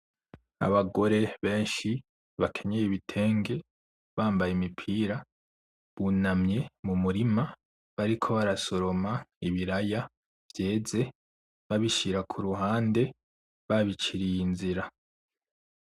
Abagore benshi bakenyeye ibitenge bambaye imipira bunamye mumurima bariko barasoroma ibiraya vyeze babishira kuruhande babiciriye inzira.